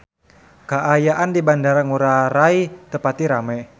Kaayaan di Bandara Ngurai Rai teu pati rame